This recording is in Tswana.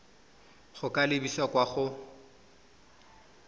go ka lebisa kwa go